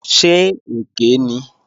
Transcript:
Ṣé èké ni?